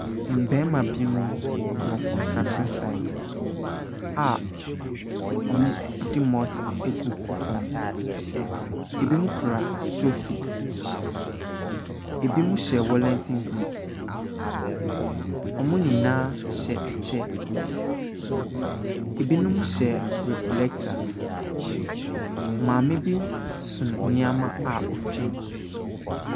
Mmarima bi mo wɔ kɔnstrakhyin saet a ɔmo de mɔta egugu fam. Ebi mo kura sofi, ebi mo hyɛ wɔlanten buut. Ɔmo nyinaa hyɛ ɛkyɛ. Ebinom hyɛ reflɛkta. Maame bi so nneɛma a otwam.